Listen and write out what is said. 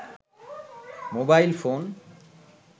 mobile phone